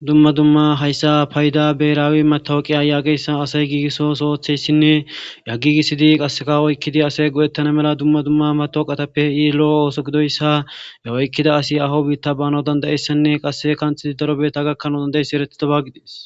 Dumma dumma hayssa payida beraawi matowuqiya yaageyssa asay giigisso osootheyssinne a gigisidi qasseka oykkidi asay go7ettana mela dumma dumma matoqatappei lo7o ooso gidoyssa e oykkida asi aho biitta bana dandayessanne qasse kanthidi daro beeta gakkanaa dandayeyssi erethida ba gidees.